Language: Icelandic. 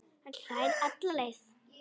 Hann hlær alla leið